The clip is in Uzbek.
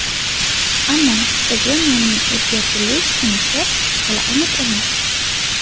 Ammo stadion nomining o‘zgartirilish sanasi hali aniq emas.